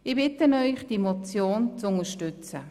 Ich bitte Sie, diese Motion zu unterstützen.